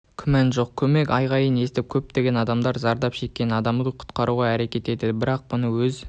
күмән жоқ көмек айғайын естіп көптеген адамдар зардап шеккен адамды құтқаруға әрекет етеді бірақ бұны өз